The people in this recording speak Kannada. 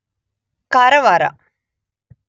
ಕಾರವಾರ